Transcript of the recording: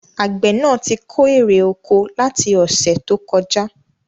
Àgbẹ̀ náà tí kó èrè oko láti ọ̀sẹ̀ tó kọjá